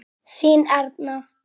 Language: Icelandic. Þín Erna.